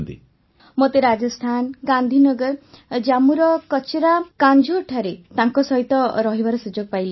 ବର୍ଷାବେନ୍ ମୋତେ ରାଜସ୍ଥାନ ଗାନ୍ଧିନଗର ଜାମ୍ମୁର କଚରା କାଂଝୋରଠାରେ ତାଙ୍କ ସହିତ ରହିବାର ସୁଯୋଗ ପାଇଲି